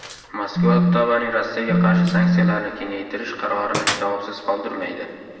Moskva Ottavaning Rossiyaga qarshi sanksiyalarni kengaytirish qarorini javobsiz qoldirmaydi.